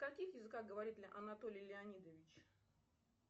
на каких языках говорит анатолий леонидович